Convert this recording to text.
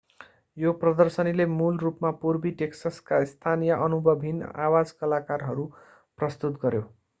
यो प्रदर्शनीले मूल रूपमा पूर्वी टेक्ससका स्थानीय अनुभवहीन आवाज कलाकारहरू प्रस्तुत गर्‍यो।